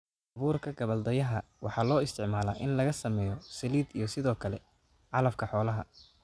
Abuurka gabbaldayaha: Waxa loo isticmaalaa in laga sameeyo saliid iyo sidoo kale calafka xoolaha.